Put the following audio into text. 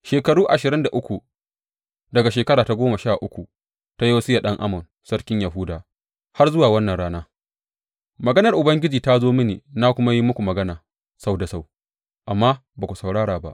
Shekaru ashirin da uku, daga shekara ta goma sha uku ta Yosiya ɗan Amon sarkin Yahuda har zuwa wannan rana, maganar Ubangiji ta zo mini na kuma yi muku magana sau da sau, amma ba ku saurara ba.